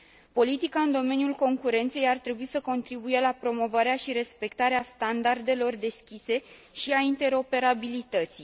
Politica în domeniul concurenței ar trebui să contribuie la promovarea și respectarea standardelor deschise și a interoperabilității.